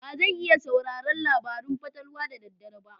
Ba zan iya sauraron labarun fatalwa da dare ba.